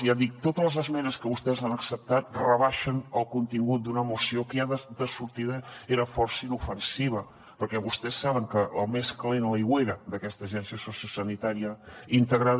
ja dic totes les esmenes que vostès han acceptat rebaixen el contingut d’una moció que ja de sortida era força inofensiva perquè vostès saben que el més calent a l’aigüera d’aquesta agència sociosanitària integrada